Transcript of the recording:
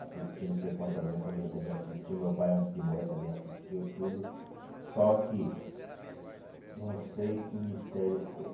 Assisti não sei quantas, minha família também assistiu, meu pai antes de morrer também assistiu tudo, só que não sei que mistério foi.